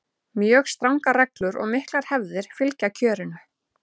mjög strangar reglur og miklar hefðir fylgja kjörinu